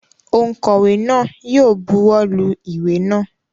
Ònkówè náà yi o buwó lu ìwé náà